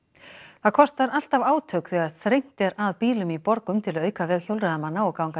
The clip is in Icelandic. það kostar alltaf átök þegar þrengt er að bílum í borgum til að auka veg hjólreiðamanna og gangandi